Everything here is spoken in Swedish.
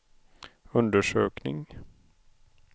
undersökning